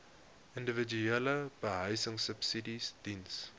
individuele behuisingsubsidies diens